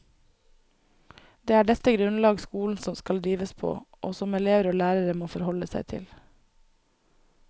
Det er dette grunnlag skolen skal drives på, og som elever og lærere må forholde seg til.